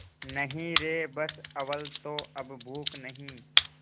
नहीं रे बस अव्वल तो अब भूख नहीं